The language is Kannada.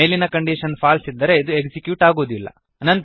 ಮೇಲಿನ ಕಂಡೀಶನ್ ಫಾಲ್ಸ್ ಇದ್ದರೆ ಇದು ಎಕ್ಸಿಕ್ಯೂಟ್ ಆಗುವುದಿಲ್ಲ